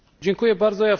Dziękuję bardzo.